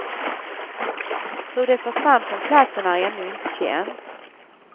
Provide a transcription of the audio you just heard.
Hur de försvann från platsen är ännu inte känt.